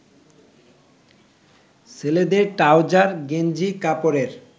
ছেলেদের ট্রাউজার গেঞ্জি কাপড়ের